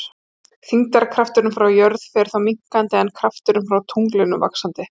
Þyngdarkrafturinn frá jörð fer þá minnkandi en krafturinn frá tungli vaxandi.